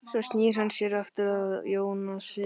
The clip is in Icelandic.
Svo snýr hann sér aftur að Jónasi.